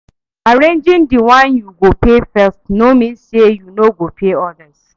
Arranging the one yu go pay first no mean say yu no go pay odas.